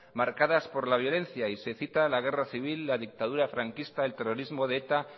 marcadas por la violencia y se cita la guerra civil la dictadura franquista el terrorismo de eta